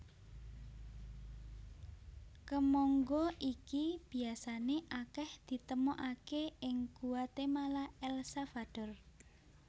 Kemangga iki biasané akèh ditemokaké ing Guatemala El Salvador